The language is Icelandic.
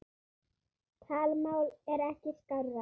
Talmál er ekki skárra.